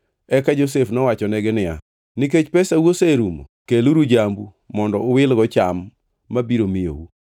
Eka Josef nowachonegi niya, “Nikech pesau oserumo, keluru jambu mondo uwilgo cham mabiro miyou.”